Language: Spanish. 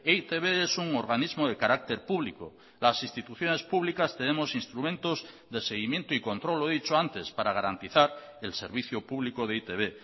e i te be es un organismo de carácter público las instituciones públicas tenemos instrumentos de seguimiento y control lo he dicho antes para garantizar el servicio público de e i te be